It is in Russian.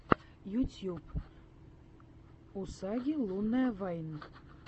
ютьюб усаги лунная вайн